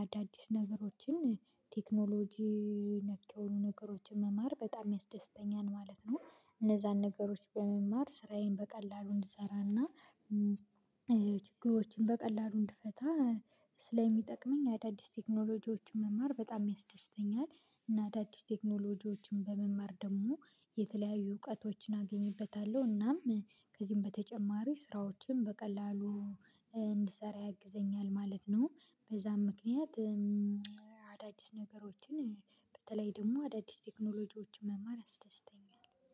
አዳዲስ ነገሮችን ቴክኖሎጂ ነክ የሆኑ ነገሮችን መማር በጣም ያስደስተኛል ማለት ነው። እነዛን ነገሮች በመማር ስራዬን በቀላሉ እንድሰራ እና ችግሮችን በቀላሉ እንድፈታ ስለሚጠቅመኝ አዳዲስ ቴክኖሎጂዎችን መማር በጣም ያስደስተኛል። እና አዳዲስ ቴክኖሎጂዎችን በመማር ደግሞ የተለያዩ እውቀቶችን አገኝበታለሁ እናም ከዚህም በተጨማሪ ስራዎችን በቀላሉ እንድሰራ ያግዘኛል ማለት ነው። በዛም ምክንያት አዳዲስ ነገሮችን በተለይ ደግሞ አዳዲስ ቴክኖሎጂዎች መማር ያስደስተኛል